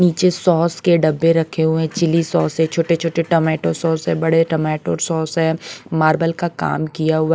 नीचे सॉस के डब्बे रखे हुए चिली सॉस है छोटे-छोटे टोमेटो सॉस है बड़े टोमेटो सॉस है मार्बल का काम किया हुआ --